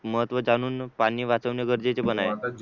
महत्व जाणून पाणी वाचवणे गरजेचे पण आहे